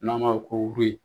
N'a ma